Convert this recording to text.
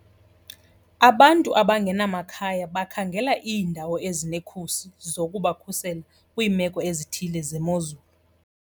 Abantu abangenamakhaya bakhangela iindawo ezinekhusi zokubakhusela kwiimeko ezithile zemozulu.